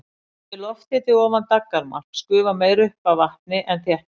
Sé lofthiti ofan daggarmarks gufar meira upp af vatni en þéttist.